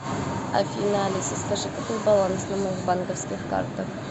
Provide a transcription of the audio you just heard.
афина алиса скажи какой баланс на моих банковских картах